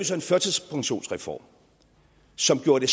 så en førtidspensionsreform som gjorde det